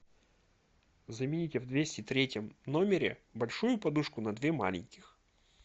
замените в двести третьем номере большую подушку на две маленьких